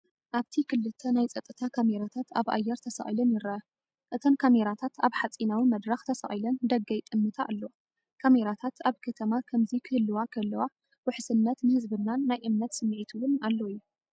ኣብቲ ክልተ ናይ ጸጥታ ካሜራታት ኣብ ኣየር ተሰቒለን ይርኣያ። እተን ካሜራታት ኣብ ሓጺናዊ መድረኽ ተሰቒለን ንደገ ይጥምታ ኣለዋ። ካሜራታት ኣብ ከተማ ከምዚ ክህልዋ ከለዋ ውሕስነት ንህዝብናን ናይ እምነት ስምዒት እውን ኣሎ እዩ።